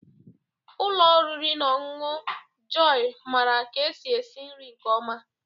Ụlọ oriri na ọṅụṅụ Jọyị maara ka esi esi nri nke ọma.